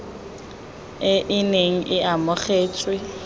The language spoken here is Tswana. e e neng e amogetswe